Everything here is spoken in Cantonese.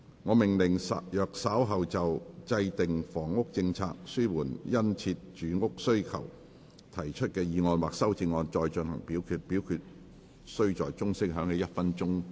我命令若稍後就"制訂房屋政策紓緩殷切住屋需求"所提出的議案或修正案再進行點名表決，表決須在鐘聲響起1分鐘後進行。